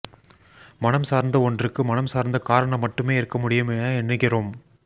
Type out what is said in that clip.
மனம் சார்ந்த ஒன்றுக்கு மனம் சார்ந்த காரணம் மட்டுமே இருக்க முடியும் என எண்ணுகிறோம்